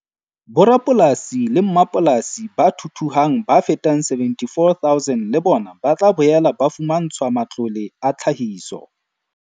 Borapolasi le mmapolasi ba thuthuhang ba fetang 74 000 le bona ba tla boela ba fumantshwa matlole a tlhahiso.